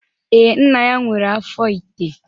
Ee, nna ya nwere afọ ite